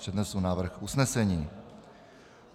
Přednesu návrh usnesení.